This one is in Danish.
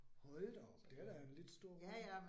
Hold da op, det er da en lidt stor